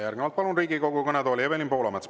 Järgnevalt palun Riigikogu kõnetooli Evelin Poolametsa.